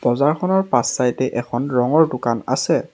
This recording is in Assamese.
বজাৰখনৰ পাছ চাইড এ এখন ৰঙৰ দোকান আছে।